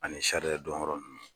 Ani dɔn yɔrɔ nun